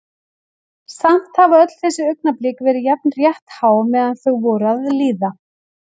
Samt hafa öll þessi augnablik verið jafn rétthá meðan þau voru að líða.